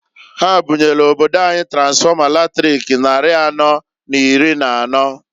Ha bunyelu obodo anyị tansfọma latrik nnarị anọọ n'iri n'anọọ.